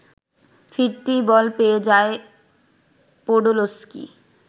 ফিরতি বল পেয়ে যায় পোডোলস্কি